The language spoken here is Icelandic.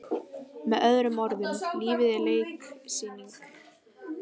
Með öðrum orðum- lífið er leiksýning.